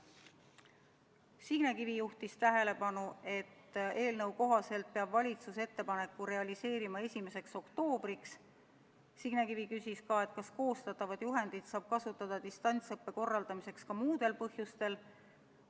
Signe Kivi juhtis tähelepanu asjaolule, et eelnõu kohaselt pidi valitsus ettepaneku realiseerima 1. oktoobriks, ja küsis, kas koostatavat juhendit saab kasutada distantsõppe korraldamiseks ka muudel põhjustel.